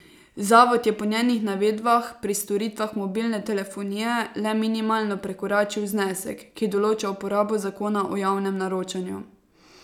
Zavod je po njenih navedbah pri storitvah mobilne telefonije le minimalno prekoračil znesek, ki določa uporabo zakona o javnem naročanju.